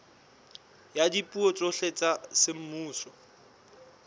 ya dipuo tsohle tsa semmuso